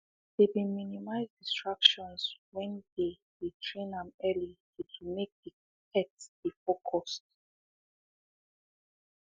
they been minimize distractions when they dey train am early to to make the pet dey focused